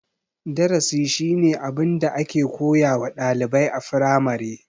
Darasi shine abin da ake koyawa ɗalibai a firamare.